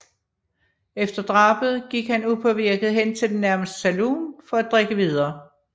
Efter drabet gik han upåvirket til den nærmeste saloon for at drikke videre